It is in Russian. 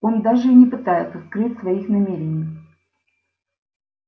он даже и не пытается скрыть своих намерений